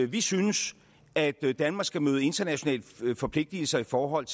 vi synes at danmark skal møde internationale forpligtelser i forhold